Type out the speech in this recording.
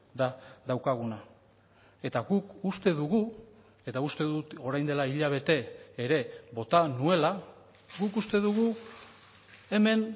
da daukaguna eta guk uste dugu eta uste dut orain dela hilabete ere bota nuela guk uste dugu hemen